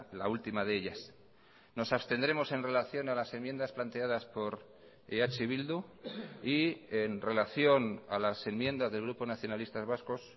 la última de ellas nos abstendremos en relación a las enmiendas planteadas por eh bildu y en relación a las enmiendas del grupo nacionalistas vascos